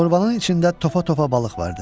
Şorvanın içində topa-topa balıq var idi.